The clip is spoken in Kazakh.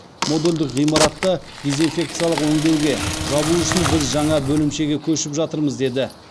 модульдік ғимаратты дезинфекциялық өңдеуге жабу үшін біз жаңа бөлімшеге көшіп жатырмыз деді